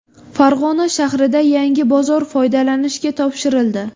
Farg‘ona shahrida yangi bozor foydalanishga topshirildi.